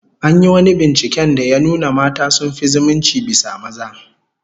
An yi wani binciken da ya nuna mata sun fi zumunci bisa maza